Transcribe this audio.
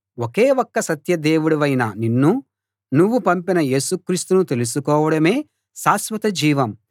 ఒకే ఒక్క సత్య దేవుడవైన నిన్నూ నువ్వు పంపిన యేసు క్రీస్తునూ తెలుసుకోవడమే శాశ్వతజీవం